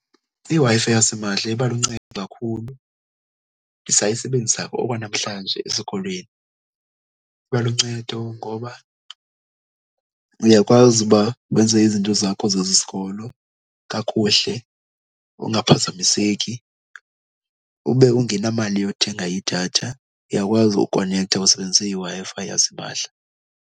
IWi -Fi yasimahla iba luncedo kakhulu, ndisayibenzisa okwanamhlanje esikolweni. Iba luncedo ngoba uyakwazi uba wenze izinto zakho zesikolo kakuhle ungaphazamiseki ube ungenamali yothenga idatha. Uyakwazi ukonektha usebenzise iWi-Fi yasimahla.